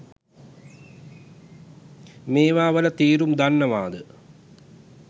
මේවා වල තේරුම දන්නවද?